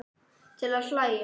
Til að hlæja.